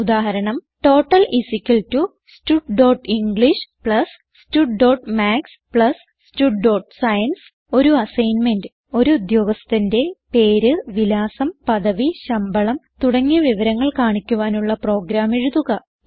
ഉദാഹരണം total studenglish studമാത്സ് studസയൻസ് ഒരു അസ്സൈൻമെന്റ് ഒരു ഉദ്ധ്യോഗസ്ഥന്റെ പേര് വിലാസം പദവി ശമ്പളം തുടങ്ങിയ വിവരങ്ങൾ കാണിക്കുവാനുള്ള പ്രോഗ്രാം എഴുതുക